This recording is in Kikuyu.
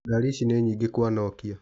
Ngari ici nĩ nyĩngĩ kwa Nokia.